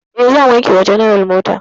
E, zan wanke wa general mota.